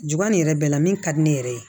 Juba nin yɛrɛ bɛɛ la min ka di ne yɛrɛ ye